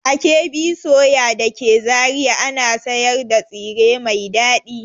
A KB soya da ke Zariya ana sayar da tsire mai dadi.